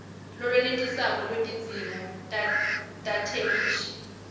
lolwenetisako lwetidzingo tetheksthi